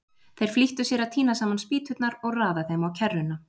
Þeir flýttu sér að tína saman spýturnar og raða þeim á kerruna.